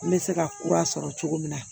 N bɛ se ka kura sɔrɔ cogo min na